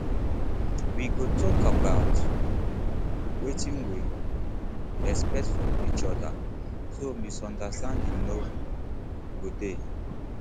we go tok about um wetin we um expect from each oda so misunderstanding no um go dey